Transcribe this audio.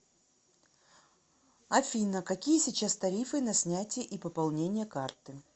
афина какие сейчас тарифы на снятие и пополнение карты